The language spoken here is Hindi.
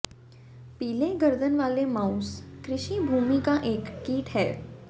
पीले गर्दन वाले माउस कृषि भूमि का एक कीट है